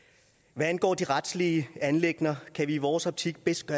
hvad angår de retlige anliggender er det i vores optik bedst